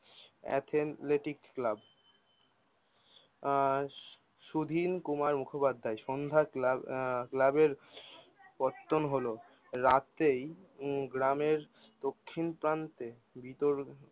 এথেনলেটিক club আহ Sudhin Kumar Mukhopadhyay Sandhya club আহ সন্ধ্যা ক্লাবের পতন হলো রাতেই হম গ্রামের দক্ষিণ প্রান্তে